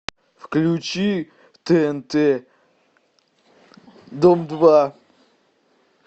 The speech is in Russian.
включи тнт дом два